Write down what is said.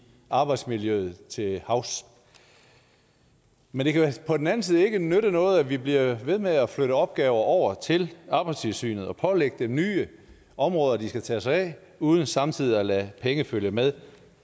arbejdsmiljøet til havs men på den anden side kan nytte noget at vi bliver ved med at flytte opgaver over til arbejdstilsynet og pålægge dem nye områder de skal tage sig af uden samtidig at lade pengene følge med